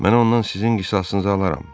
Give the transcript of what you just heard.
"Mən ondan sizin qisasınızı alaram."